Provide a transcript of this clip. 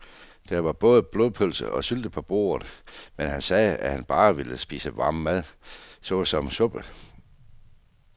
Der var både blodpølse og sylte på bordet, men han sagde, at han bare ville spise varm mad såsom suppe.